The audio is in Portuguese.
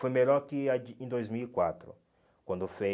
Foi melhor que a de em dois mil e quatro, quando fez